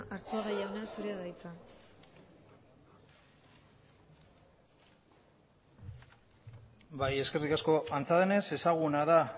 arzuaga jauna zurea da hitza bai eskerrik asko antza denez ezaguna da